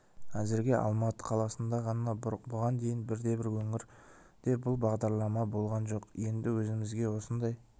әзірге алматы қаласында ғана бұған дейін бірде-бір өңірде бұл бағдарлама болған жоқ енді өзімізге осындай